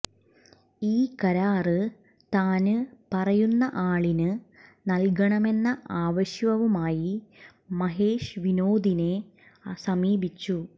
ഈ കരാര് താന് പറയുന്ന ആളിന് നല്കണമെന്ന ആവശ്യവുമായി മഹേഷ് വിനോദിനെ സമീപിച്ചു